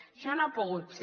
això no ha pogut ser